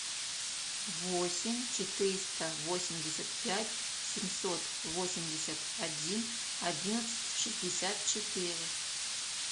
восемь четыреста восемьдесят пять семьсот восемьдесят один одиннадцать шестьдесят четыре